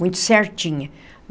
Muito certinha.